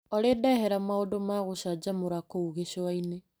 Olĩ ndehera maũndũ ma gũcajamũra kũu gĩcũa-inĩ .